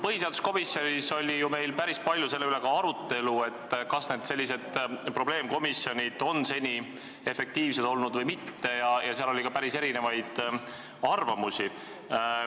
Põhiseaduskomisjonis oli meil ju päris palju arutelu ka selle üle, kas senised probleemkomisjonid on olnud efektiivsed või mitte, ja seal oli ka erinevaid arvamusi.